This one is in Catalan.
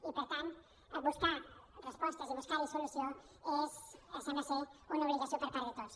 i per tant buscar respostes i buscar hi solució és sembla una obligació per part de tots